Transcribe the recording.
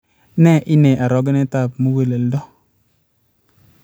Nee inei orogenet ab muguleldo